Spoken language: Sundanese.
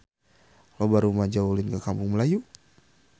Loba rumaja ulin ka Kampung Melayu